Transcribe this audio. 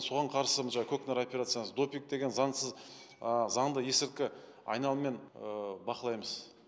соған қарсы мына жаңа көкнар операциясы допинг деген заңсыз ыыы заңды есірткі ыыы айналыммен ы бақылаймыз